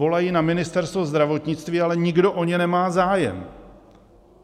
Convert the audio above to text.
Volají na Ministerstvo zdravotnictví, ale nikdo o ně nemá zájem.